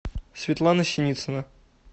светлана синицына